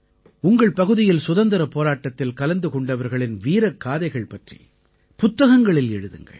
உங்கள் பகுதியில் சுதந்திரப் போராட்டத்தில் கலந்து கொண்டவர்களின் வீரக்காதைகள் பற்றி புத்தகங்களில் எழுதுங்கள்